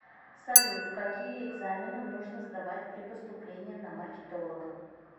салют какие экзамены нужно сдавать при поступлении на маркетолога